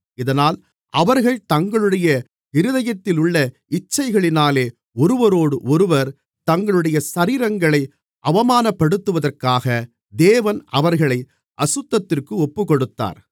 இதனால் அவர்கள் தங்களுடைய இருதயத்திலுள்ள இச்சைகளினாலே ஒருவரோடொருவர் தங்களுடைய சரீரங்களை அவமானப்படுத்துவதற்காக தேவன் அவர்களை அசுத்தத்திற்கு ஒப்புக்கொடுத்தார்